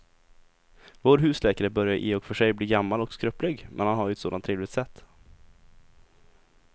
Vår husläkare börjar i och för sig bli gammal och skröplig, men han har ju ett sådant trevligt sätt!